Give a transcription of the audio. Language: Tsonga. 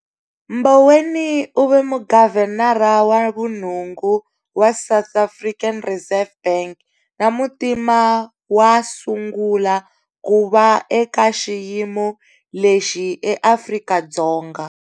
Mboweni u ve Mugavhenara wa vunhungu wa South African Reserve Bank na Muntima wa sungula ku va eka xiyimo lexi eAfrika-Dzonga.